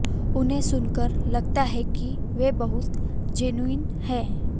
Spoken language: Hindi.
उन्हें सुनकर लगता है कि वे बहुत जेनुइन हैं